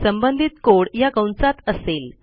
संबंधित कोड या कंसात असेल